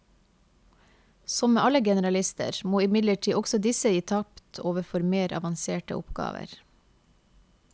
Som med alle generalister, må imidlertid også disse gi tapt overfor mer avanserte oppgaver.